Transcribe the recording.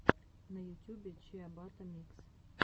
на ютюбе чиабатта микс